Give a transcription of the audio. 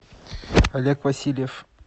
олег васильев